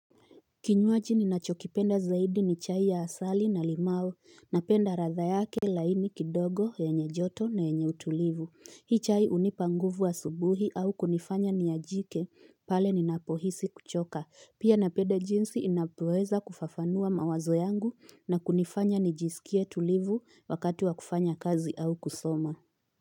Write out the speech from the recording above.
Kinywaji ninachokipenda zaidi ni chai ya asali na limao, napenda ladha yake laini kidogo yenye joto na yenye utulivu. Hii chai unipa nguvu asubuhi au kunifanya niajike pale ninapohisi kuchoka. Pia napenda jinsi inapoeza kufafanua mawazo yangu na kunifanya nijisikie tulivu wakati wa kufanya kazi au kusoma.